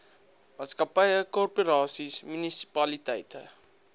maatskappye korporasies munisipaliteite